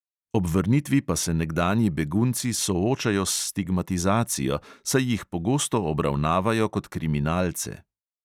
Ob vrnitvi pa se nekdanji begunci soočajo s stigmatizacijo, saj jih pogosto obravnavajo kot kriminalce.